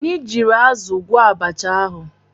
Anyị jiiri azụ gwọọ abacha ahụ.